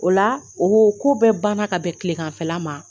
O la, oo ko bɛɛ banna ka bɛn kileganfɛla ma.